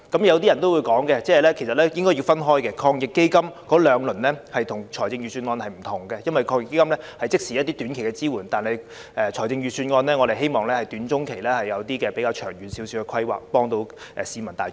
有人可能說兩輪防疫抗疫基金措施和預算案並不相同，應該分開來說，因為防疫抗疫基金措施屬即時提出的一些短期支援，但我們卻希望預算案能夠在短中期提出比較長遠的規劃，從而幫助市民大眾。